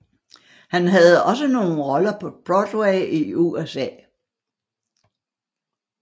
Han havde også nogle roller på Broadway i USA